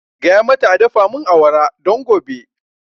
Gaya mata a dafa mun awara don gobe